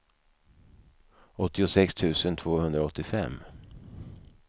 åttiosex tusen tvåhundraåttiofem